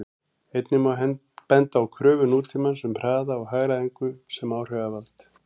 Einnig má benda á kröfur nútímans um hraða og hagræðingu sem áhrifavald.